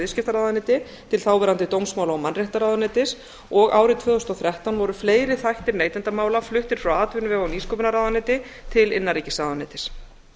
viðskiptaráðuneyti til þáverandi dómsmála og mannréttindaráðuneytis og árið tvö þúsund og þrettán voru fleiri þættir neytendamála fluttir frá atvinnuvega og nýsköpunarráðuneyti til innanríkisráðuneytis